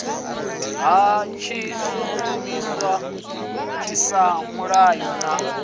ha tshishumisa tshiswa muhayo na